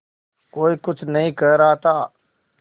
कोई कुछ नहीं कह रहा था